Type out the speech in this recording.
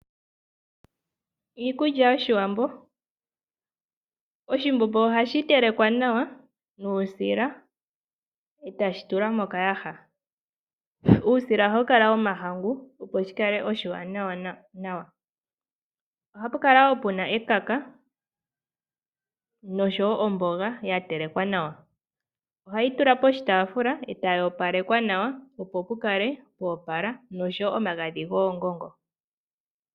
Iikulya yoshiwambo. Oshimbombo ohashi tetekwa nawa nuusila etashi tulwa mokayaha. Uusila ohawu kala womahangu opo shikale oshiwanawa. Ohapu kala woo puna ekaka noshowo omboga ya telekwa nawa. Ohayi tulwa poshitaafula etayi opalekwa nawa opo pukale pwa opala noshowo omagadhi goongongo.